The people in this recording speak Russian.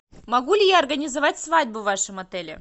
могу ли я организовать свадьбу в вашем отеле